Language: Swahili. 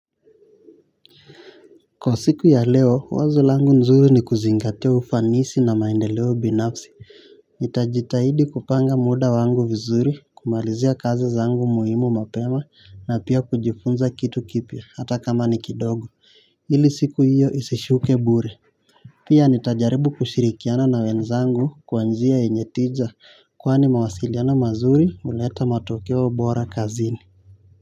Kwa siku ya leo wazo langu nzuri ni kuzingatia ufanisi na maendeleo binafsi nitajitahidi kupanga muda wangu vizuri kumalizia kazi zangu muhimu mapema na pia kujifunza kitu kipya hata kama ni kidogo ili siku hiyo isishuke bure. Pia nitajaribu kushirikiana na wenzangu kwanzia enyetiza kwani mawasiliana mazuri uleta matokeo bora kazini.